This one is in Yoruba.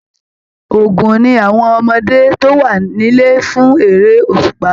Ògún ní àwọn ọmọdé tó wà nílẹ̀ fún eré òṣùpá.